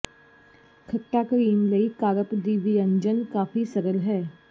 ਖੱਟਾ ਕਰੀਮ ਲਈ ਕਾਰਪ ਦੀ ਵਿਅੰਜਨ ਕਾਫ਼ੀ ਸਰਲ ਹੈ